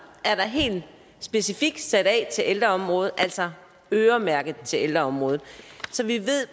specifikt er sat af til ældreområdet altså øremærket til ældreområdet så vi